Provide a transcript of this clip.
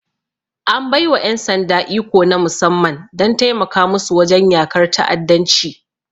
An bai wa ƴan sanda iko na musamman don taimaka musu wajen yakar ta'addanci.